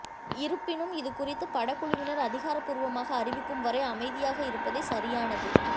இருப்பினும் இதுகுறித்து படக்குழுவினர் அதிகாரபூர்வமாக அறிவிக்கும் வரை அமைதியாக இருப்பதே சரியானது